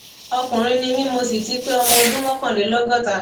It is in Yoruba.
ọkùnrin ni mí mo sì ti pé ọmọ ọdún mọkànlélọgọta